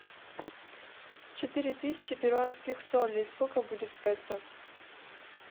четыре тысячи перуанских солей сколько будет в песо